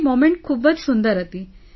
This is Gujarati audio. તે મોમેન્ટ ખૂબ જ સુંદર હતી